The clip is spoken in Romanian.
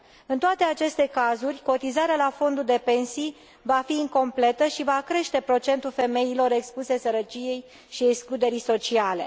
În toate aceste cazuri, cotizarea la fondul de pensii va fi incompletă și va crește procentul femeilor expuse sărăciei și excluderii sociale.